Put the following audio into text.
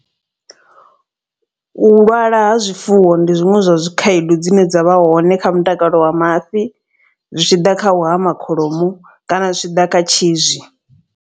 U lwala ha zwifuwo ndi zwiṅwe zwa zwi khaedu dzine dza vha hone kha mutakalo wa mafhi. Zwi tshi ḓa kha u hama kholomo kana zwi tshi ḓa kha tshi zwi.